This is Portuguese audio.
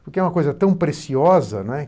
Porque é uma coisa tão preciosa, né?